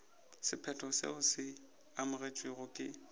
sephetho seo se amogetšwego ke